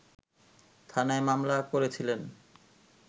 থানায় মামলা করেছিলেন